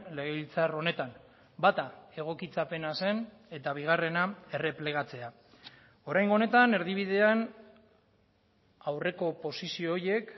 legebiltzar honetan bata egokitzapena zen eta bigarrena erreplegatzea oraingo honetan erdibidean aurreko posizio horiek